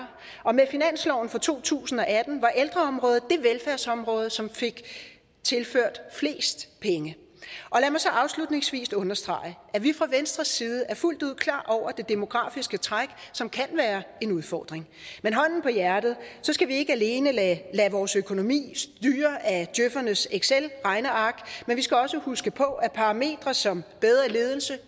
og med finansloven for to tusind og atten var ældreområdet det velfærdsområde som fik tilført flest penge og så afslutningsvis understrege at vi fra venstres side fuldt ud er klar over det demografiske træk som kan være en udfordring men hånden på hjertet så skal vi ikke alene lade vores økonomi styre af djøfernes excelregneark men vi skal også huske på at parametre som bedre ledelse